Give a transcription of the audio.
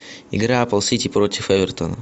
игра апл сити против эвертона